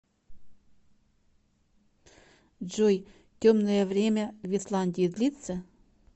джой темное время в исландии длится